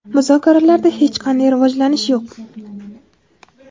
muzokaralarda hech qanday rivojlanish yo‘q.